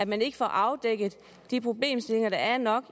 man ikke får afdækket de problemstillinger der er nok